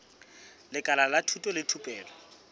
lekala la thuto le thupelo